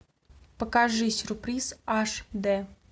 покажи сюрприз аш дэ